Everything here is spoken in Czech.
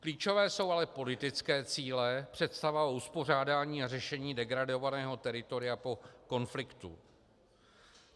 Klíčové jsou ale politické cíle, představa o uspořádání a řešení degradovaného teritoria po konfliktu.